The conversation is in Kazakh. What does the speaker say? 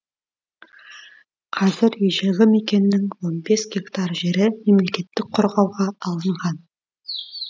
қазір ежелгі мекеннің он бес гектар жері мемлекеттік қорғауға алынған